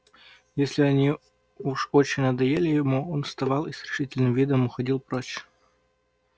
если они уж очень надоели ему он вставал и с решительным видом уходил прочь